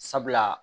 Sabula